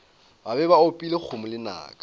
be ba opile kgomo lenaka